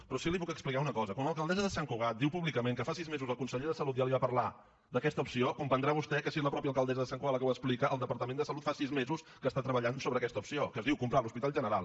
però sí que li puc explicar una cosa quan l’alcaldessa de sant cugat diu públicament que fa sis mesos el conseller de salut ja li va parlar d’aquesta opció comprendrà vostè que si és la mateixa alcaldessa de sant cugat la que ho explica el departament de salut fa sis mesos que està treballant sobre aquesta opció que es diu comprar l’hospital general